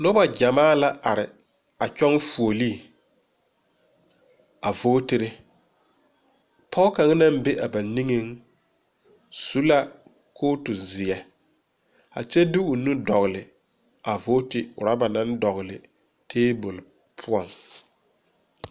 Nobɔ gyamaa la are a kyɔŋ fuolee a vootere poge kaŋ naŋ be a ba niŋeŋ au la kootu zeɛ a kyɛ de o nu dɔgle a boote rɔba naŋ dɔgle tabol poɔŋ.